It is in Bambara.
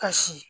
Kasi